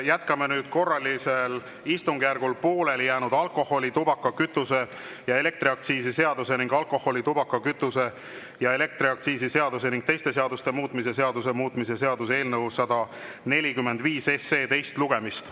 Jätkame nüüd korralisel istungjärgul pooleli jäänud alkoholi-, tubaka-, kütuse- ja elektriaktsiisi seaduse ning alkoholi-, tubaka-, kütuse- ja elektriaktsiisi seaduse ning teiste seaduste muutmise seaduse muutmise seaduse eelnõu 145 teist lugemist.